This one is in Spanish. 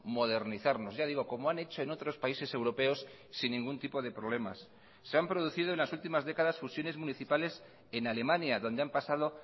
modernizarnos ya digo como han hecho en otros países europeos sin ningún tipo de problemas se han producido en las últimas décadas fusiones municipales en alemania donde han pasado